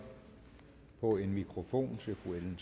på en mikrofon til fru ellen